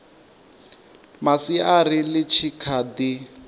masiari ḽi tshi kha ḓi